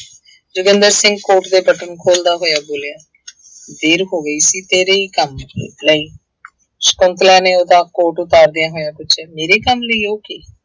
Joginder Singh coat ਦੇ button ਖੋਲਦਾ ਹੋਇਆ ਬੋਲਿਆ ਦੇਰ ਹੋ ਗਈ ਸੀ ਤੇਰੇ ਹੀ ਕੰਮ ਲਈ ਸਕੁੰਤਲਾ ਨੇ ਉਹਦਾ ਕੋਟ ਉਤਾਰਦਿਆਂ ਹੋਇਆ ਪੁੱਛਿਆ, ਮੇਰੇ ਕੰਮ ਲਈ, ਉਹ ਕੀ?